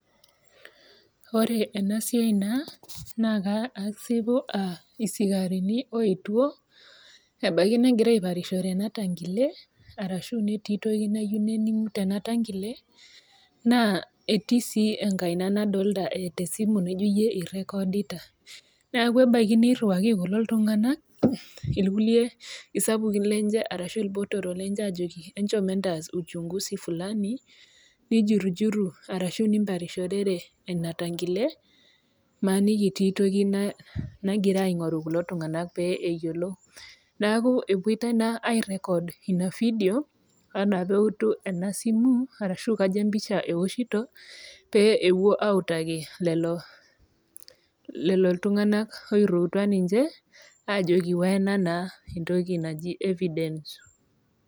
Ore ena Siai naa kasipu isikarini oetuo ebaiki negira aiparishore ena tankile, arashu netii toki nayeu nening'u tena tangile naa etii sii enkaina nadolita naata esimu naijo iyie eirekodita , neaku ebaiki neiriwaki kulo tung'ana ilkulie isupukin lenye arashu ilbotoro lenye ajoki enchom entaas uchunguzi fulani , nejurjururu arashu nimparoshorere Ina tangile maaniki etii toki nagira aing'oru kulo tung'ana pee eyiolou, neaku epuoitai naa airekod Ina fidio anaa peutu ena simu arashu kajo empisha eoshoto pee ewuo autaki lelo tung'ana oiriutua ninche ajoki weena naa entoki naji evidence.